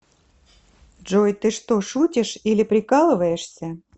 джой ты что шутишьили прикалываешься